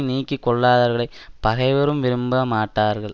நீக்கி கொள்ளாதவர்களைப் பகைவரும் விரும்பி பாராட்டுவார்கள்